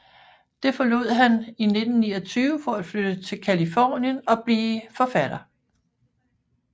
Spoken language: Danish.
Det forlod han i 1929 for at flytte til Californien og blive forfatter